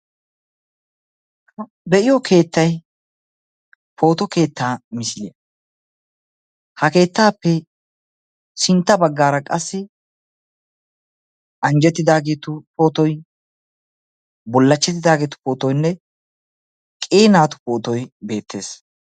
beyiyoo keettay pootto keetta misiliya ha keettappe sintta baggaara qassi anjjetidaageetu potoy bullachchetidaageetu pootoynne qii naatu pootoy beettees.